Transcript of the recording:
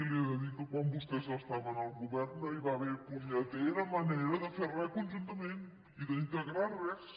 li he de dir que quan vostès estaven al govern no hi va haver punyetera manera de fer re conjuntament ni d’integrar res